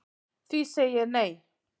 Því segi ég nei